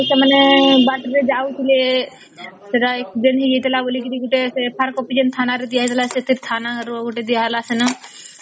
ଯେ ସେମାନେ ବାଟରେ ଯାଉଥିଲେ ସେଟା accident ହେଇ ଯାଇଥିଲା ବୋଲି ସେ FIR କପି ତ ଗୋଟେ ଥାନା ରେ ଦିଆହେଇଥିଲା ସେଟା ଥାନା ର ଗୋଟେ ଦିଆ ହେଲା ସେନ